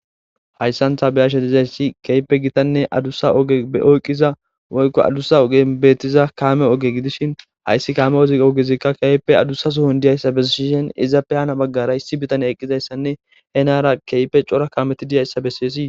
Hayssantha beyashe dizayssi keype gitanne adussa eoyqqiza woykko adussa ogen beettiza kaame oge gidishin hayssi kaame oz ogezikka keype adussa sohon diyayssa bessishen iza pe haana baggara issi bitane eqqizayssanne he naara keype cora kaameti diyayssa besseesii